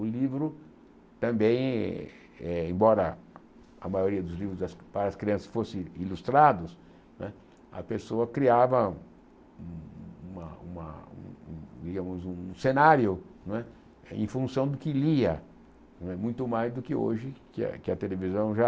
O livro também, eh embora a maioria dos livros para as crianças fossem ilustrados não é, a pessoa criava uma uma um cenário não é em função do que lia, muito mais do que hoje, que a que a televisão já